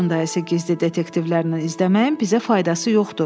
Qurun dayısı gizli detektivlərlə izləməyin bizə faydası yoxdur.